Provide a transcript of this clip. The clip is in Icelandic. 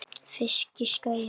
Fisk, giskaði ég.